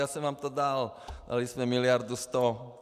Já jsem vám to dal, dali jsme miliardu sto.